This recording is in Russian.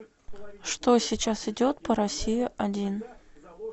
что сейчас идет по россии один